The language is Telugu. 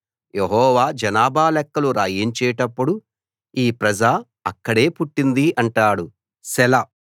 యెహోవా జనాభా లెక్కలు రాయించేటప్పుడు ఈ ప్రజ అక్కడే పుట్టింది అంటాడు సెలా